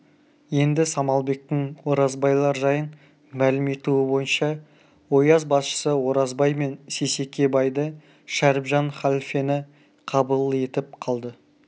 енді самалбектің оразбайлар жайын мәлім етуі бойынша ояз басшысы оразбай мен сейсеке байды шәріпжан халфені қабыл етіп қалды